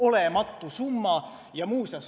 Olematu summa!